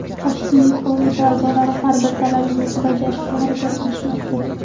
Tashkiliy qo‘mita a’zolari har bir talabimizni bajarishga harakat qilishmoqda.